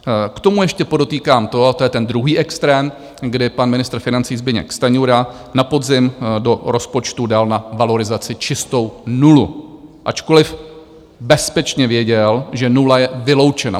K tomu ještě podotýkám to, a to je ten druhý extrém, kdy pan ministr financí Zbyněk Stanjura na podzim do rozpočtu dal na valorizaci čistou nulu, ačkoliv bezpečně věděl, že nula je vyloučena.